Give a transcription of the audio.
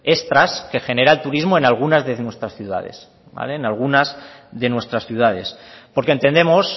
extras que genera el turismo en algunas de nuestras ciudades porque entendemos